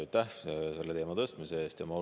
Aitäh selle teema tõstmise eest!